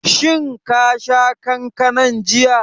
Shin ka sha kankanan jiya?